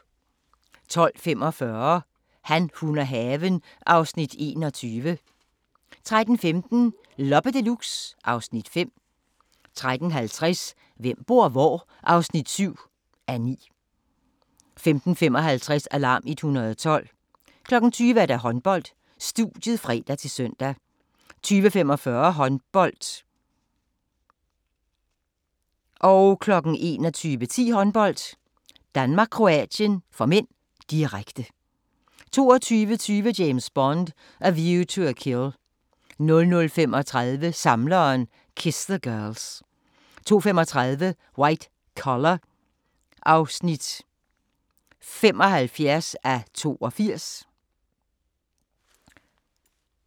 12:45: Han, hun og haven (Afs. 21) 13:15: Loppe Deluxe (Afs. 5) 13:50: Hvem bor hvor? (7:9) 15:55: Alarm 112 20:00: Håndbold: Studiet (fre-søn) 20:25: Håndbold: Danmark-Kroatien (m), direkte 21:10: Håndbold: Danmark-Kroatien (m), direkte 22:20: James Bond: A View to a Kill 00:35: Samleren – Kiss the Girls 02:35: White Collar (75:82)